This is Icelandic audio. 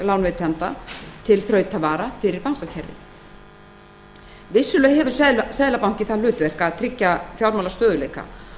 lánveitenda til þrautavara fyrir bankakerfið vissulega hefur seðlabankinn það hlutverk að tryggja fjármálastöðugleika